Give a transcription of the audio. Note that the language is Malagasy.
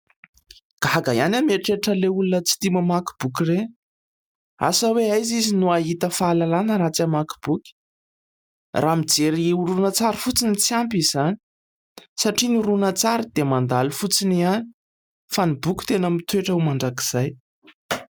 Gaga ihany aho mieritreritran'ilay olona tsy tia mamaky boky ireny. Asa hoe aiza izy no hahita fahalalana raha tsy hamaky boky ? Raha mijery horonan-tsary fotsiny, tsy ampy izany satria ny horonan-tsary dia mandalo fotsiny ihany fa ny boky tena mitoetra ho mandrakizay.